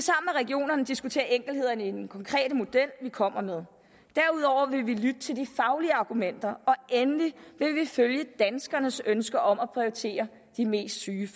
regionerne diskutere enkelthederne i den konkrete model vi kommer med derudover vil vi lytte til de faglige argumenter og endelig vil vi følge danskernes ønsker om at de mest syge